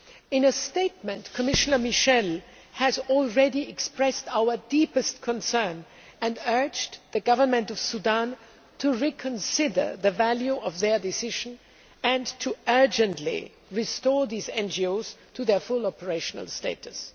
In a statement, Commissioner Michel has already expressed our deepest concern and urged the Government of Sudan to reconsider the value of their decision and to urgently restore these NGOs to their full operational status'.